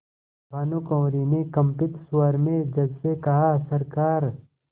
भानुकुँवरि ने कंपित स्वर में जज से कहासरकार